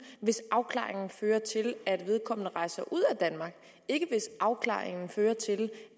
hvis afklaringen fører til at vedkommende rejser ud af danmark og ikke hvis afklaringen fører til